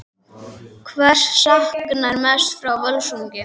Hvers saknarðu mest frá Völsungi?